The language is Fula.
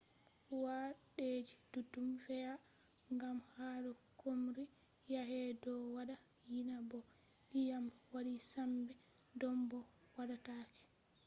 wadeji duddum fe’a gam hado chomri yaake do wada yina bo diyam wadi sembe dom bo wadatake